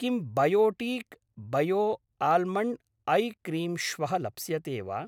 किं Biotique bio almond eye cream श्वः लप्स्यते वा?